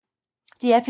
DR P2